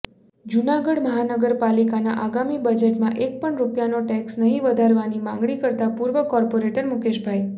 જૂનાગઢ મહાનગરપાલિકાના આગામી બજેટમાં એક પણ રૂપિયાનો ટેક્ષ નહીં વધારવાની માંગણી કરતા પૂર્વ કોર્પોરેટર મુકેશભાઇ